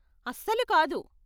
అస్సలు కాదు!